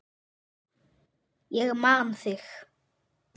Ég man þig!